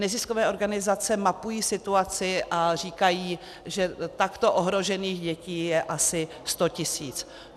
Neziskové organizace mapují situaci a říkají, že takto ohrožených dětí je asi 100 tisíc.